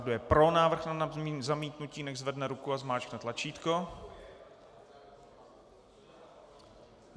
Kdo je pro návrh na zamítnutí, nechť zvedne ruku a zmáčkne tlačítko.